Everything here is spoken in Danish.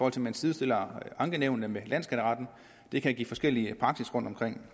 at man sidestiller ankenævnene med landsskatteretten det kan give forskellig praksis rundtomkring